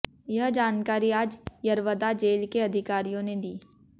यह जानकारी आज यरवदा जेल के अधिकारियों ने दी